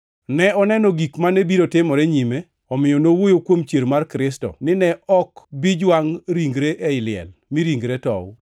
Ne oneno gik mane biro timore nyime, omiyo nowuoyo kuom chier mar Kristo ni ne ok bi jwangʼo ringre ei liel mi ringre tow.